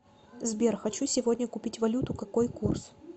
сбер хочу сегодня купить валюту какой курс